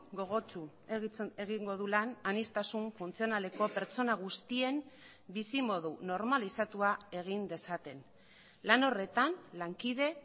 gogotsu egingo du lan aniztasun funtzionaleko pertsona guztien bizimodu normalizatua egin dezaten lan horretan lankide